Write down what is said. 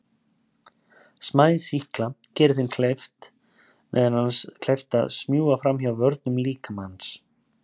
Smæð sýkla gerir þeim meðal annars kleift að smjúga fram hjá vörnum líkamans.